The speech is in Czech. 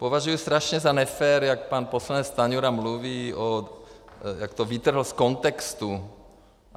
Považuji strašně za nefér, jak pan poslanec Stanjura mluví, jak to vytrhl z kontextu.